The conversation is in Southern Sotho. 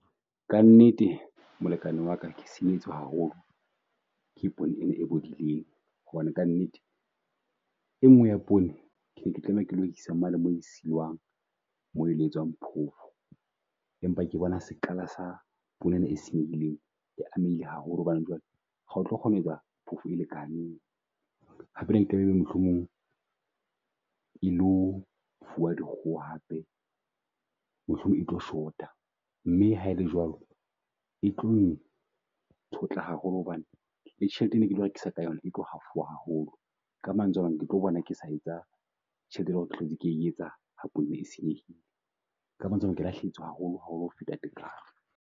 Ka nnete molekane waka ke haholo ke poone e bodileng hobane ka nnete e ngwe ya poone kene ke tlameha ke lo isa mane mo isuwang mo elo e tswang phofo. Empa ke bona sek'qala sa pula ena e senyehileng e amehile haholo hobane jwale ho tlo kgona ho ya phofo e lekaneng. Hape ebe mohlomong e lo fuwa dikgoho hape, mohlomong e tlo shota. Mme haele jwalo, e tlo haholo hobane tjhelete e ne ketlo rekisa ka yona e tlo hafoha haholo. Ka mantswe ana, ke tlo bona ke sa etsa tjhelete, e leng hore ke hlotse ke etsa ha phofo e senyehile. Ka mantswe amang ke lahlehetswe haholo haholo ho feta tekanyo.